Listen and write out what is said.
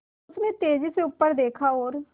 उसने तेज़ी से ऊपर देखा और